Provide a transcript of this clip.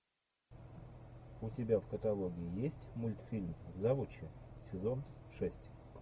у тебя в каталоге есть мультфильм завучи сезон шесть